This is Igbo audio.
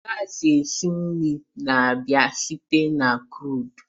gas esi nri na-abịa site na crude